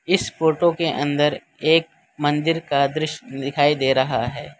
इस फोटो के अंदर एक मंदिर का दृश्य दिखाई दे रहा है।